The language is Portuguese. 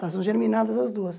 Elas são germinadas as duas.